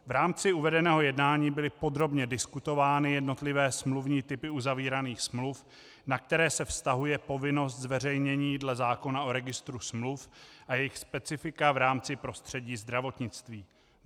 V rámci uvedeného jednání byly podrobně diskutovány jednotlivé smluvní typy uzavíraných smluv, na které se vztahuje povinnost zveřejnění dle zákona o registru smluv a jejich specifika v rámci prostředí zdravotnictví.